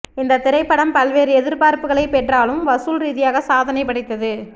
இந்த திரைப்படம் பல்வேறு எதிர்ப்புகளை பெற்றாலும் வசூல் ரீதியாக சாதனை படைத்தது